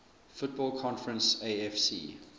football conference afc